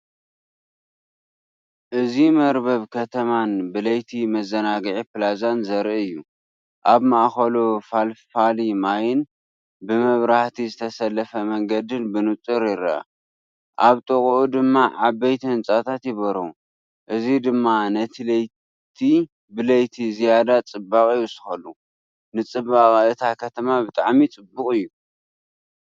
እዚ መርበብ ከተማን ብለይቲ መዘናግዒ ፕላዛን ዘርኢ እዩ። ኣብ ማእከሉ ፈልፋሊ ማይን ብመብራህቲ ዝተሰለፈ መንገድን ብንጹር ይርአ። ኣብ ጥቓኡ ድማ ዓበይቲ ህንጻታት ይበርሁ፣ እዚ ድማ ነቲ ብለይቲ ዝያዳ ጽባቐ ይውስኸሉ። ንጽባቐ እታ ከተማ ብጣዕሚ ፅቡቅ እዩ።